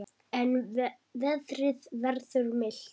En veðrið verður milt.